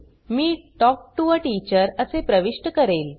me talk to a teacher असे प्रविष्ट करेल